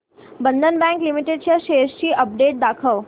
बंधन bank limited च्या shares ची update दाखव